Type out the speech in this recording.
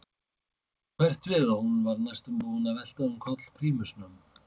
Bylgju varð svo hverft við að hún var næstum búin að velta um koll prímusnum.